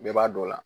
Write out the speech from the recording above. Bɛɛ b'a dɔn o la